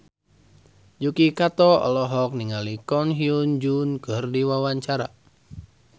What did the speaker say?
Yuki Kato olohok ningali Ko Hyun Jung keur diwawancara